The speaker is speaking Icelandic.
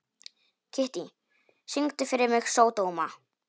Kittý, syngdu fyrir mig „Sódóma“.